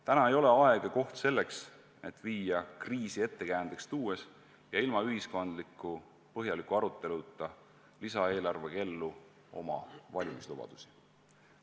Täna ei ole aeg ja koht selleks, et viia kriisi ettekäändeks tuues ja ilma põhjaliku ühiskondliku aruteluta lisaeelarvega ellu oma valimislubadusi.